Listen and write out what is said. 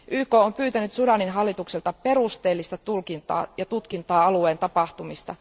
YK on pyytänyt Sudanin hallitukselta perusteellista tulkintaa ja tutkintaa alueen tapahtumista.